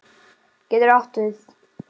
getur átt við